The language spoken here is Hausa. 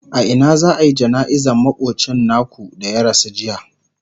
a Ina za'ayi jana'izar makocin naku da ya rasu jiya?